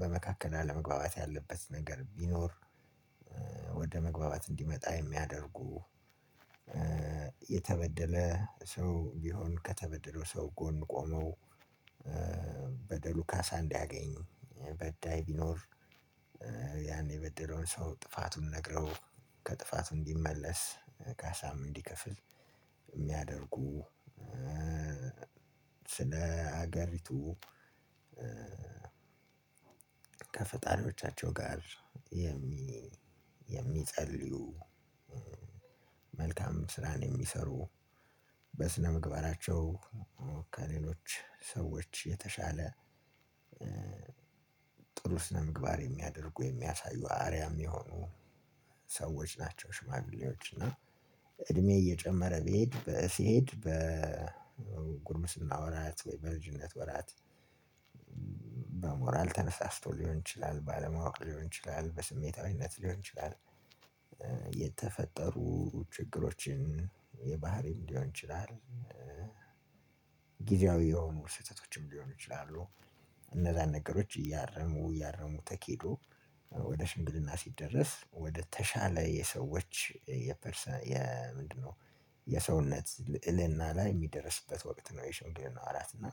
በመካከል አለመግባባት ያለበት ነገር ቢኖር ወደ መግባባት እንዲመጣ የሚያደርጉ የተበደለ ሰው ቢሆን ከተበደለው ሰው ጎን ቆመው በደሉ ካሳ እንዲያገኝ በዳይ ቢኖር ያኔ የበደለውን ሰው ጥፋቱን ነግረው ከጥፋቱ እንዲመለስ ካሳም እንዲከፍል የሚያደርጉ። ስለ ሀገሪቱ ከፈጣሪዎቻቸው ጋር የሚጸልዩ መልካም ስራን የሚሰሩ በስነምግባራቸው ከሌሎች ሰዎች የተሻለ ጥሩ ስነ ምግባር የሚያደርጉ የሚያሳዩ አርያም የሆኑ ሰዎች ናቸው። ሽማግሌዎች እና እድሜ እየጨመረ ሲሄድ በጉርስና ወራት በእርጅነት ወራት በሞራል ተነሳስቶ ሊሆን ይችላል ባለማወቅ ሊሆን ይችላል በስሜታዊነት ሊሆን ይችላል። የተፈጠሩ ችግሮችን የባህሪም ሊሆን ይችላል። ጊዜያዊ የሆኑ ስህተቶችም ሊሆኑ ይችላሉ። እነዛን ነገሮች እያረሙ እያረሙ ተኪዶ ወደ ሽምግልና ሲደረስ ወደ ተሻለ የሰዎች የፐርሰናል የምንድነው የሰውነት ልዕልና ላይ የሚደርስበት ወቅት ነው። የሽንግልና ወራት እና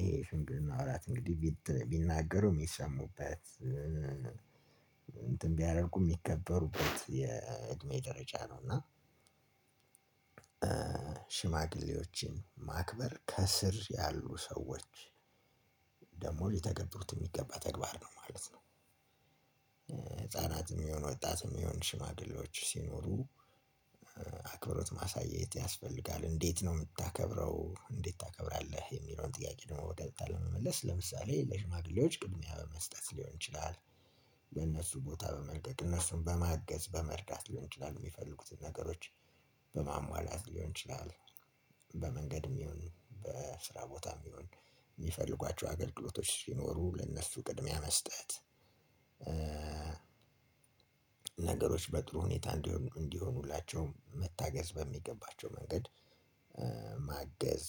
ይሄ ሽምግልና ነው ወራት እንግዲህ ቢናገሩም የሚሰሙበት እንትን ቢያደርጉ የሚከበሩበት የእድሜ ደረጃ ነው። እና ሽማግሌዎችን ማክበር ከስር ያሉ ሰዎች ደግሞ ሊተገበሩት የሚገባ ተግባር ነው ማለት ነው። ህፃናትም ይሁን ወጣትም የሆነ ሽማግሌዎች ሲኖሩ አክብሮት ማሳየት ያስፈልጋል። እንዴት ነው የምታከብረው እንዴት ታከብራለህ? የሚለውን ጥያቄ ነው። ቀጥታ ለመመለስ ለምሳሌ ለሽማግሌዎች ቅድሚያ በመስጠት ሊሆን ይችላል። ለእነሱ ቦታ በመልቀቅ እነሱን በማገዝ በመርዳት ሊሆን ይችላል የሚፈልጉትን ነገሮች በማሟላት ሊሆን ይችላል። በመንገድም ይሁን በስራ ቦታም ይሁን የሚፈልጓቸው አገልግሎቶች ሲኖሩ ለነሱ ቅድሚያ መስጠት። ነገሮች በጥሩ ሁኔታ እንዲሆኑላቸው መታገዝ በሚገባቸው መንገድ ማገዝ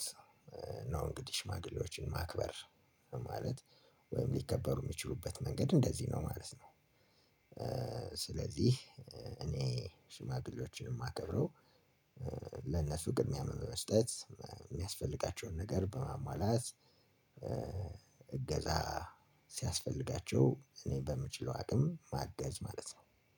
ነው። እንግዲህ ሽማግሌዎችን ማክበር ማለት ወይም ሊከበሩ የሚችሉበት መንገድ እንደዚህ ነው ማለት ነው። ስለዚህ እኔ ሽማግሌዎችን የማከብረው ለነሱ ቅድሚያ በመስጠት የሚያስፈልጋቸውን ነገር በማሟላት እገዛ ሲያስፈልጋቸው እኔ በምችለው አቅም ማጋዝ ማለት ነው።